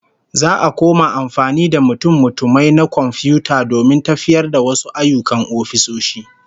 Za'a koma amfani da mutummutumai na komfiyuta domin tafiyar da wasu ayyukan ofisoshi